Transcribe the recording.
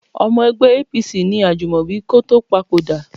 Ọmọ ẹgbẹ́ APC ni Ajúmọ̀bí kó tó papòdà